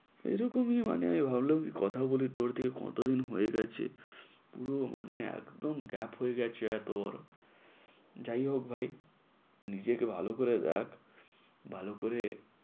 এরকমই মানে ভাবলাম কথা বলি, তোর থেকে কত দিন হয়ে গেছে। পুরো মানে একদম gap হয়ে গেছে, যাই হোক ভাই নিজেকে ভালো করে রাখ। ভাল করে